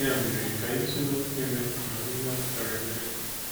Ya mere, ka anyị tụlee okwu Emeka ma hụ ihe ọ pụtara nye anyị.